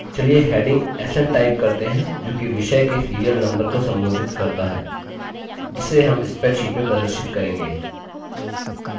चलिए heading sn type करते हैं जो कि विषय के serial number को संबोधित करता है जिसे हम spreadsheet में प्रदर्शित करेंगे